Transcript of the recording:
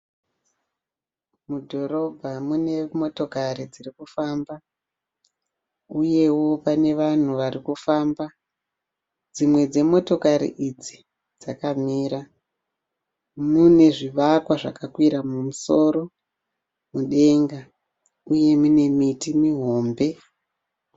Mudhorobha mune motokari dzirikufamba uyewo pane vanhu varikufamba. Dzimwe dzemotokari idzi dzakamira. Mune zvivakwa zvakakwira kumusoro mudenga uye mune miti mihombe.